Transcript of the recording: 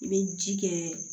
I bɛ ji kɛ